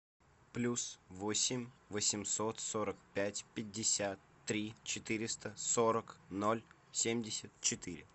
плюс восемь восемьсот сорок пять пятьдесят три четыреста сорок ноль семьдесят четыре